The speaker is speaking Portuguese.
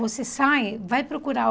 Você sai, vai procurar.